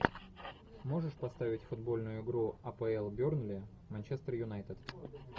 можешь поставить футбольную игру апл бернли манчестер юнайтед